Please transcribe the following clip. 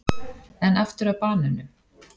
En aftur að banönum.